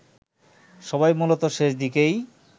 সবাই মূলত শেষদিকেই